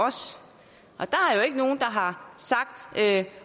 ikke nogen der har sagt